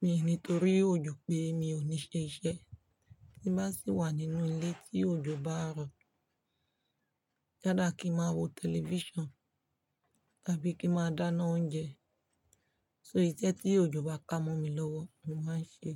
Mi ò ní torí òjò pé mi ò ní ṣe iṣẹ́. Tí bá sì wà nínú ilé tí òjò bá ń rọ̀, yala kí ń máa wo television tàbí kí ń máa dáná oúnjẹ. So iṣẹ́ tí òjò bá kámọ mi lọ́wọ́ ni màá ṣe.